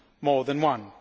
more than one.